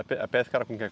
A pe a pesca era com o quê?